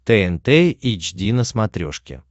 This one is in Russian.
тнт эйч ди на смотрешке